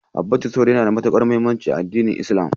Habbatu sauda yana da matuƙar muhimmanci a addinin Islam.